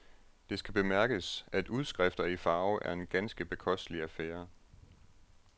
Det skal bemærkes, at udskrifter i farve er en ganske bekostelig affære.